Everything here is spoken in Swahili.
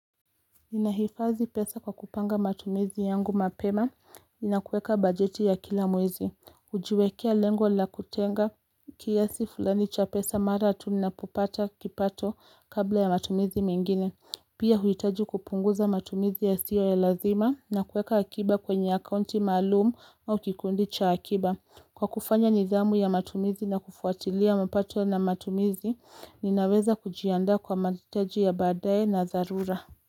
Nahifazi pesa kwa kupanga matumizi yangu mapema, na kuweka bajeti ya kila mwezi, kujiwekea lengo la kutenga kiasi fulani cha pesa mara tu napopata kipato kabla ya matumizi mingine. Pia huitaji kupunguza matumizi ya siyo ya lazima na kuweka akiba kwenye akaunti maalumu au kikundi cha akiba. Kwa kufanya nidhamu ya matumizi na kufuatilia mapato ya matumizi, ninaweza kujianda kwa mahataji ya baadaye na zalura.